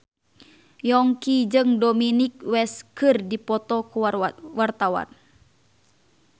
Yongki jeung Dominic West keur dipoto ku wartawan